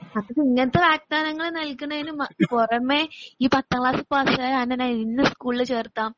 അത് ഇങ്ങനത്തെ വാഗ്താനങ്ങള് നൽകുന്നതിന് മ പുറമെ ഈ പത്താംക്ലാസ് പാസായാൽ അന്നേ നെ ഇന്ന സ്കൂളിൽ ചേർത്താം